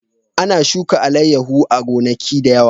Ana shuka alayyahu a gonaki da yawa